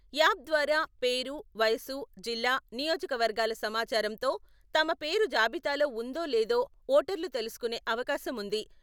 app ద్వారా పేరు, వయసు, జిల్లా, నియోజకవర్గాల సమాచారంతో..తమ పేరు జాబితాలో ఉందో లేదో ఓటర్లు తెలుసుకొనే అవకాశం ఉంది